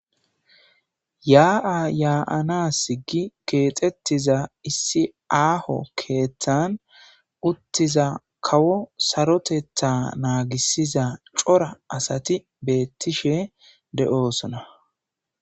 Yaa,'a yaa7anas gi keexettiza issi aaho keeththan uttiza kawo sarotetha naagisiza cora asati beettishe de7oosona